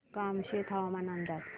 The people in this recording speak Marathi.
कामशेत हवामान अंदाज